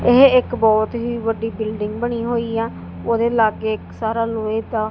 ਇਹ ਇੱਕ ਬਹੁਤ ਹੀ ਵੱਡੀ ਬਿਲਡਿੰਗ ਬਣੀ ਹੋਈ ਆ ਉਹਦੇ ਲਾਗੇ ਇੱਕ ਸਾਰਾ ਲੋਹੇ ਦਾ--